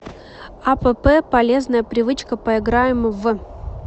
апп полезная привычка поиграем в